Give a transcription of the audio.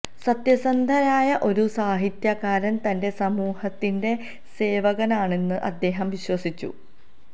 സത്യസന്ധനായ ഒരു സാഹിത്യകാരന് തന്റെ സമൂഹത്തിന്റെ സേവകനാണെന്ന് അദ്ദേഹം വിശ്വസിച്ചു